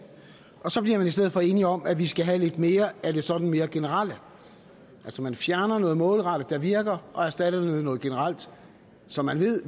og så bliver man i stedet for enige om at vi skal have lidt mere af det sådan mere generelle altså man fjerner noget målrettet der virker og erstatter det med noget generelt som man ved